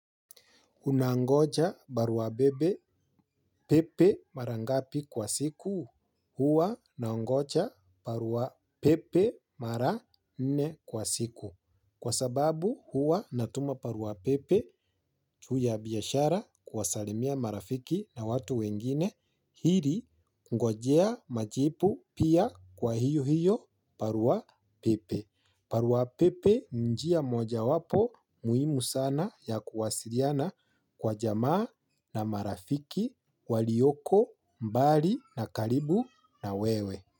Unangoja barua bebe pepe mara ngapi kwa siku? Huwa nangoja barua pepe mara nne kwa siku kwa sababu huwa natuma barua pepe juu ya biashara kuwasalimia marafiki na watu wengine hili kungojea majibu pia kwa hiyo hiyo barua pepe. Barua pepe ni njia mojawapo muhimu sana ya kuwasiliana kwa jamaa na marafiki, walioko mbali na karibu na wewe.